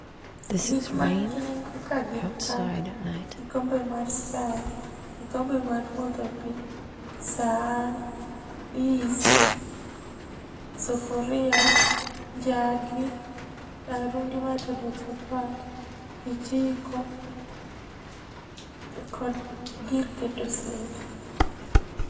Gik man gi nengo ka gin kaka lkikombe mar chae, kikombe mar modho pi, san, dis, sufuria, njagi, rarundi mar tedo chapat, kijiko, kod gir keto sende.